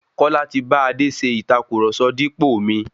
Kọ́lá ti bá Adé ṣe ìtàkurọ̀sọ dípò mi.